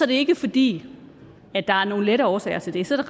det ikke fordi der er nogle lette årsager til det så